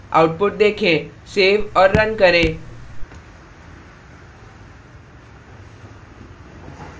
output देखें so और run करें